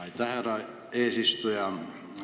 Aitäh, härra eesistuja!